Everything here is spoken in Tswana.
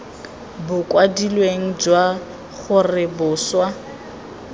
bo kwadilweng jwa gore boswa